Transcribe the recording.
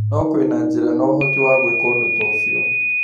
No kwĩna njĩra na ũhoti wa gwĩka ũndũ ta ũcio.